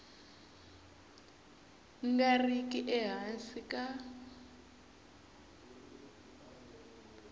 nga ri ki ehansi ka